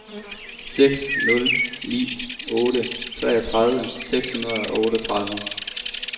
seks nul ni otte treogtredive seks hundrede og otteogtredive